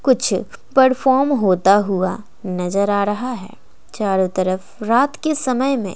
कुछ परफॉर्म होता हुआ नजर आ रहा है चारों तरफ रात के समय में--